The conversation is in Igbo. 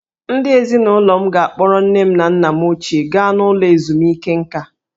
Ndị ezinụlọ m ga-akpọrọ nne na nna m ochie gaa n'ụlọ ezumike nkà.